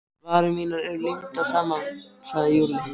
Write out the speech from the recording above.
Varir mínar eru límdar saman sagði Lúlli.